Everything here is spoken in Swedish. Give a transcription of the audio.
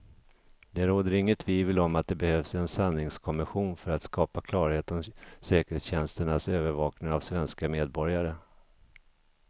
Det råder inget tvivel om att det behövs en sanningskommission för att skapa klarhet om säkerhetstjänsternas övervakning av svenska medborgare.